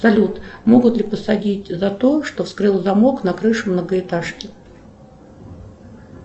салют могут ли посадить за то что вскрыл замок на крыше многоэтажки